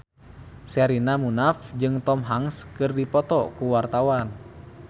Sherina Munaf jeung Tom Hanks keur dipoto ku wartawan